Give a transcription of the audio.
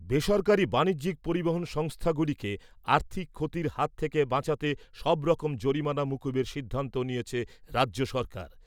বেসরকারি বাণিজ্যিক পরিবহন সংস্থাগুলিকে আর্থিক ক্ষতির হাত থেকে বাঁচাতে সবরকম জরিমানা মকুবের সিদ্ধান্ত নিয়েছে রাজ্য সরকার।